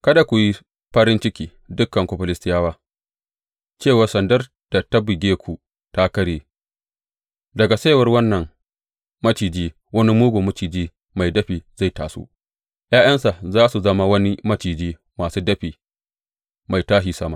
Kada ku yi farin ciki, dukanku Filistiyawa, cewa sandar da ta buge ku ta karye; daga saiwar wannan maciji wani mugun maciji mai dafi zai taso, ’ya’yansa za su zama wani maciji masu dafi mai tashi sama.